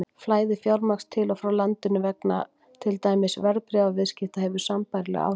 Flæði fjármagns til og frá landinu vegna til dæmis verðbréfaviðskipta hefur sambærileg áhrif.